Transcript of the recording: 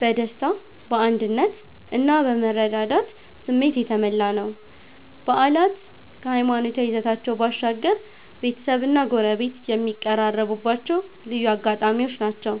በደስታ፣ በአንድነት እና በመረዳዳት ስሜት የተሞላ ነው። በዓላት ከሃይማኖታዊ ይዘታቸው ባሻገር፣ ቤተሰብና ጎረቤት የሚቀራረቡባቸው ልዩ አጋጣሚዎች ናቸው።